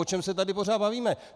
O čem se tady pořád bavíme?